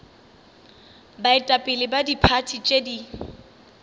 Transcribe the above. baetapele ba diphathi tše di